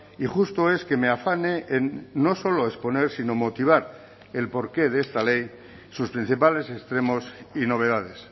y justo es que me afane en no solo exponer sino motivar el porqué de esta ley sus principales extremos y novedades